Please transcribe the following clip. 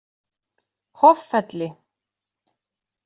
Hoffelli